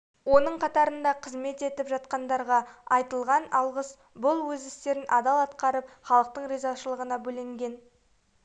оның қатарында қызмет етіп жатқандарға айтылған алғыс бұл өз істерін адал атқарып халықтың ризашылығына бөленген